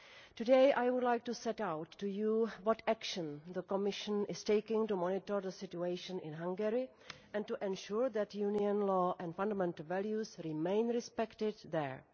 Today I would like to set out for the House what action the Commission is taking to monitor the situation in Hungary, and to ensure that European Union law and fundamental values remain respected there.